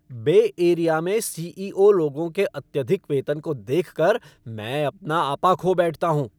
बे Area में CEO. लोगों के अत्यधिक वेतन को देखकर मैं अपना आपा खो बैठता हूँ।